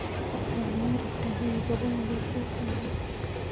Wanuri kahiu kobunu kokwet ainon